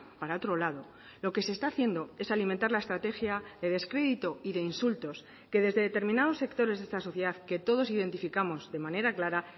para otro lado lo que se está haciendo es alimentar la estrategia de descrédito y de insultos que desde determinados sectores de esta sociedad que todos identificamos de manera clara